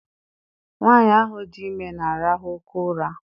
Nwaanyi ahụ dị ime na-arahụ oké ụra.